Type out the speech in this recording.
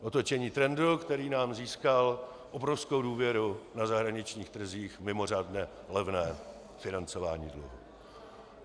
Otočení trendu, který nám získal obrovskou důvěru na zahraničních trzích, mimořádně levné financování dluhu.